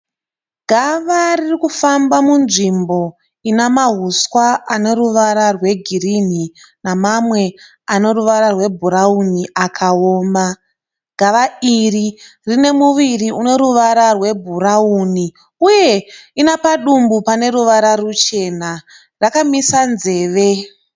Gava ririkufamba munzvimbo ina mahuswa ane ruvara rwegirini nemamwe ane ruvara rwebhurauni akaoma. Gava iri rine muviri une ruvara rwebhurauni uye ina padumbu pane ruvara ruchena. Rakamisa nzeve.